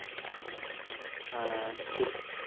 হম sit